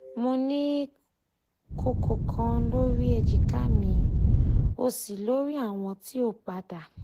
mo ni koko kan lori ejika mi osi lori awọn ti o pada